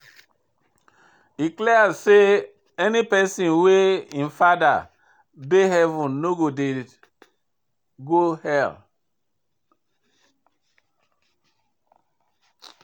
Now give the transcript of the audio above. E dey clear say any pesin wey im fada dey heaven no dey go hell.